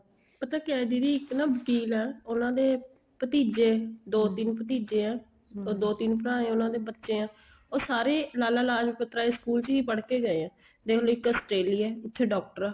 ਪਤਾ ਕਿਹਾ ਹੈ ਦੀਦੀ ਇੱਕ ਨਾ ਵਕ਼ੀਲ ਆ ਉਹਨਾ ਦੇ ਭਤੀਜੇ ਦੋ ਤਿੰਨ ਭਤੀਜੇ ਆ ਉਹ ਦੋ ਤਿੰਨ ਭਰਾ ਹਾਂ ਉਹਨਾ ਦੇ ਬੱਚੇ ਆ ਉਹ ਸਾਰੇ ਲਾਲਾਂ ਲਾਜਪਤ ਰਾਏ school ਹੀ ਪੜਕੇ ਗਏ ਆ ਦੇਖਲੋ ਇੱਕ Australia ਆ ਇੱਥੇ doctor ਆ